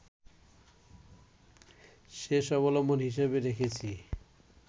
শেষ অবলম্বন হিসেবে রেখেছি